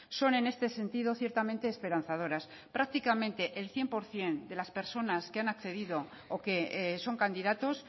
son en este sentido ciertamente esperanzadoras prácticamente el cien por ciento de las personas que han accedido o que son candidatos